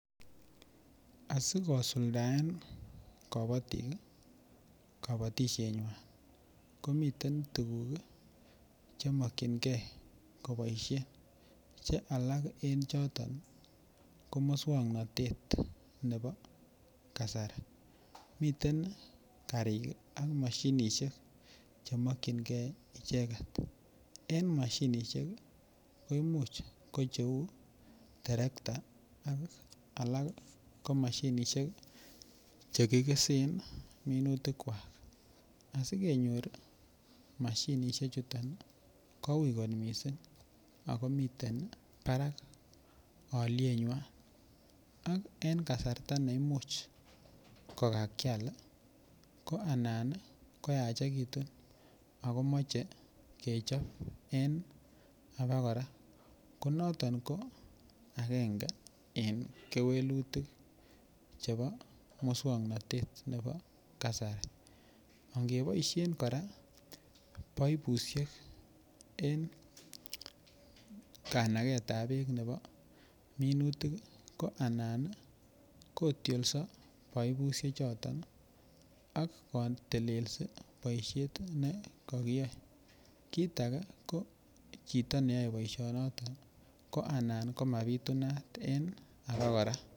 Asigosuldaen kobotik kabotisienywan komiten tuguk che mokyinge koboisien che alak en choton ko muswoknatet nebo kasari. Miten karik ak mashinisiek chemokyinge icheget. En mashinisiek koimuch ko cheu terekta ak alak ko machinisiek chekikesen minutikkwak. Asigenyor mashinisie chuto ko ui kot mising ago miten barak alyenywan ak en kasarta ne imuch komakial ko anan koyachekitun ago moche kechop en abokora. Ko noton ko agenge en kewelutik chebo muswoknatet nebo kasari. Angeboisien kora baibusiek en kanagetab beek nebo minutik ko anan kotiolso baibusiechoton ak kotelelsi boisiet ne kakiyoe. Kit age ko chito neyoe boisionoto ko anan ko mabitunat en abokora.